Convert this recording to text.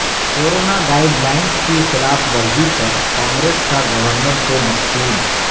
corona guidelines کی خلاف ورزی پر کانگریس کا گورنر کو مکتوب